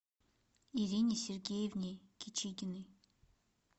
ирине сергеевне кичигиной